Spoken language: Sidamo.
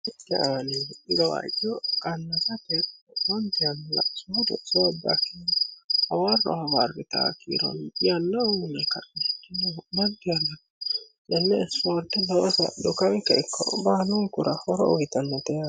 teaalii irowaaco qannata teerofantiann la'soho do'soobbakinni hawarro hawarri taa kiiron iyannauni kannicinohu mantiana yenne isfoorte nowosa dukamika ikko baanungura horo ugitannate